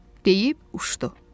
Deyib uçdu.